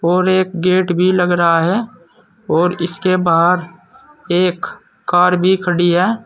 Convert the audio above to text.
और एक गेट भी लग रहा है और इसके बाहर एक कार भी खड़ी है।